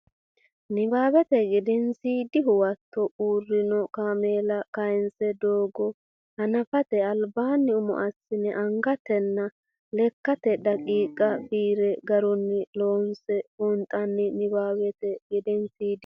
Nabbawate Gedensiidi Huwato Uurrino kaameela kayinse doogo hanafate albaanni umo assine angatenna lekkate daqiiqa fireene garunni loosase buunxanni Nabbawate Gedensiidi.